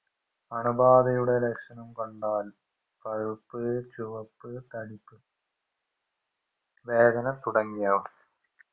അണുബാധയുടെ ലക്ഷണം കണ്ടാൽ പഴുപ്പ് ചുവപ്പ് തടിപ്പ് വേദനതുടങ്ങിയവ